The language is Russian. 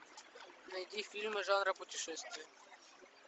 найди фильмы жанра путешествие